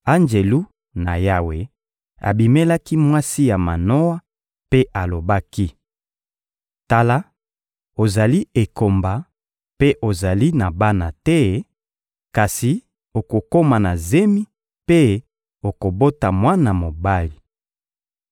Anjelu na Yawe abimelaki mwasi ya Manoa mpe alobaki: «Tala, ozali ekomba mpe ozali na bana te, kasi okokoma na zemi mpe okobota mwana mobali.